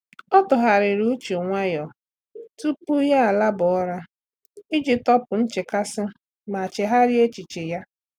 Ọ́ tụ́ghàrị̀rị̀ uche nwayọ́ọ́ tupu yá àlábá ụ́ra iji tọ́pụ́ nchekasị ma chèghàrị́a echiche ya.